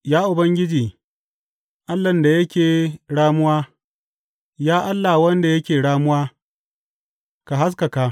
Ya Ubangiji, Allahn da yake ramuwa, Ya Allah wanda yake ramuwa, ka haskaka.